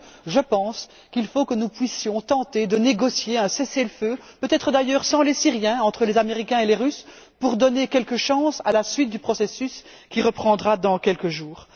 Je pense donc que nous devons tenter de négocier un cessez le feu, peut être d'ailleurs sans les Syriens, entre les Américains et les Russes, pour donner quelques chances à la suite du processus, qui reprendra dans quelques jours.